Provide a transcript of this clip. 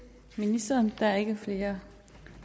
ministeren der er ikke flere